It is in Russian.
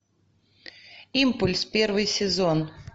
импульс первый сезон